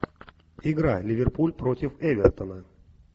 игра ливерпуль против эвертона